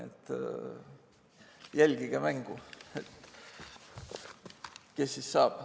Jälgige mängu, kes siis selleks saab.